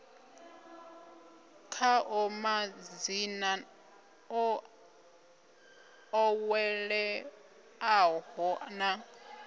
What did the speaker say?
khaḽo madzina o ḓoweleaho na